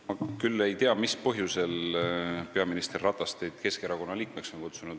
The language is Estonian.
Ma küll ei tea, mis põhjusel on peaminister Ratas teid Keskerakonna liikmeks kutsunud.